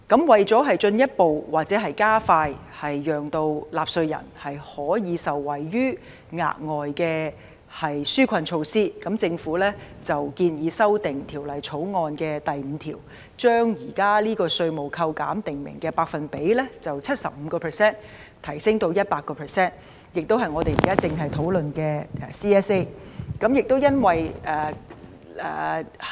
為進一步加快讓納稅人可以受惠於額外的紓困措施，政府建議修訂《條例草案》第5條，將現時稅務扣減訂明的百分比由 75% 提升至 100%， 這亦正是我們正在討論的全體委員會審議階段修正案。